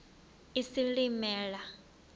isilimela